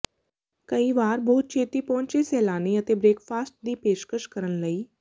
ਕਈ ਵਾਰ ਬਹੁਤ ਛੇਤੀ ਪਹੁੰਚੇ ਸੈਲਾਨੀ ਅਤੇ ਬ੍ਰੇਕਫਾਸਟ ਦੀ ਪੇਸ਼ਕਸ਼ ਕਰਨ ਲਈ